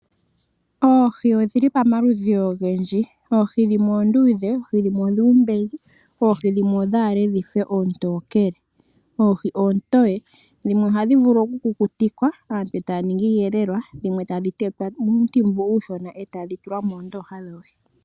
Oohi odhili paludhi ogendji oohi dhimwe oondudhe oohi dhimwe odhuumbezi oohi dhimwe odhaale dhife oontokele oohi oontoye ohii ohadhi vulu kukutikwa taa ningi iiyelelwa dhimwe tadhi tetwa oontimbu uushona eetadhi tulwa moondoha dhoohi.